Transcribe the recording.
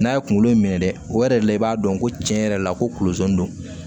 N'a ye kunkolo in minɛ dɛ o yɛrɛ de la i b'a dɔn ko tiɲɛ yɛrɛ la ko kunkolo ze do